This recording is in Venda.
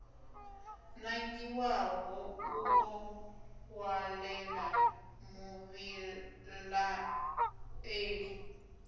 nangiwaho u ḓo ṅwalela muvhilaeli